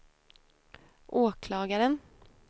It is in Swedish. åklagaren